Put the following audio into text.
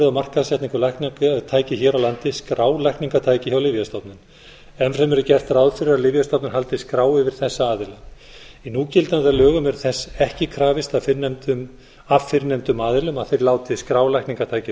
á markaðssetningu lækningatækja hér á landi skrá lækningatæki hjá lyfjastofnun enn fremur er gert ráð fyrir að lyfjastofnun haldi skrá yfir þessa aðila í núgildandi lögum er þess ekki krafist af fyrrnefndum aðilum að þeir láti skrá lækningatæki hjá